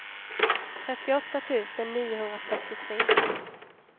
trettioåtta tusen niohundrafyrtiotre